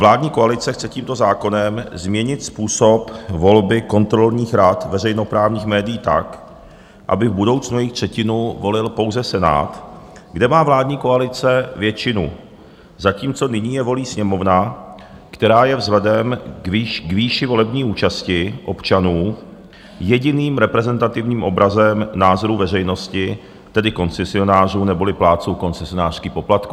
Vládní koalice chce tímto zákonem změnit způsob volby kontrolních rad veřejnoprávních médií tak, aby v budoucnu jejich třetinu volil pouze Senát, kde má vládní koalice většinu, zatímco nyní je volí Sněmovna, která je vzhledem k výši volební účasti občanů jediným reprezentativním obrazem názorů veřejnosti, tedy koncesionářů neboli plátců koncesionářských poplatků.